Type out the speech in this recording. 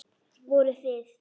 Voruð þið.